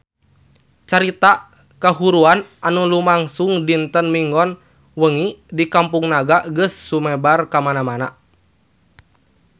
Carita kahuruan anu lumangsung dinten Minggon wengi di Kampung Naga geus sumebar kamana-mana